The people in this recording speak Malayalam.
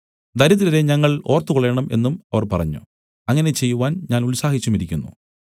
ദരിദ്രരെ ഞങ്ങൾ ഓർത്തുകൊള്ളേണം എന്നും അവർ പറഞ്ഞു അങ്ങനെ ചെയ്‌വാൻ ഞാൻ ഉത്സാഹിച്ചുമിരിക്കുന്നു